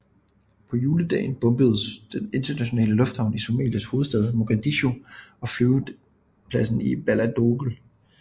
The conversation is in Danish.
På juledag bombedes den internationale lufthavn i Somalias hovedstad Mogadishu og flyvepladsen i Baledogle